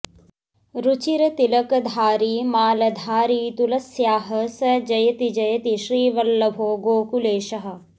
रुचिरतिलकधारी मालधारी तुलस्याः स जयति जयति श्रीवल्लभो गोकुलेशः